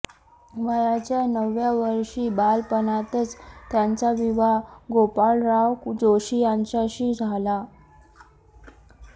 वयाच्या नवव्या वर्षी बालपणातच त्यांचा विवाह गोपाळराव जोशी यांच्याशी झाला